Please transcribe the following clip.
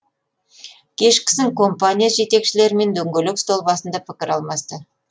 кешкісін компания жетекшілерімен дөңгелек үстел басында пікір алмасты